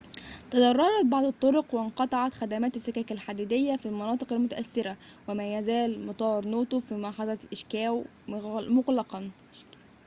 تضررت بعض الطرق وانقطعت خدمات السكك الحديدية في المناطق المتأثرة وما يزال مطار نوتو في محافظة إيشيكاوا مغلقاً